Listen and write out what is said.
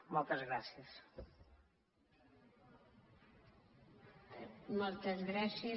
moltes gràcies